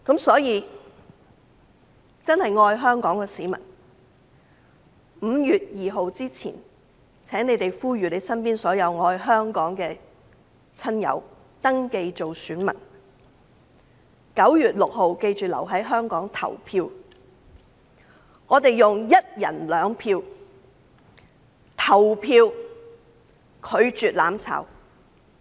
所以，真正愛香港的市民，請在5月2日前呼籲身邊所有愛香港的親友登記做選民，並記得要在9月6日留在香港投票，我們要用一人兩票，拒絕"攬炒"。